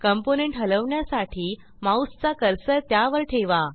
componentहलवण्यासाठी माऊसचा कर्सर त्यावर ठेवा